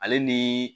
Ale ni